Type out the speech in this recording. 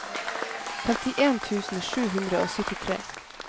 femtien tusen sju hundre og syttitre